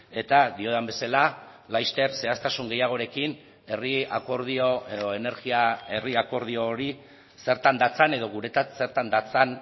eta diodan bezala laster zehaztasun gehiagorekin herri akordio edo energia herri akordio hori zertan datzan edo guretzat zertan datzan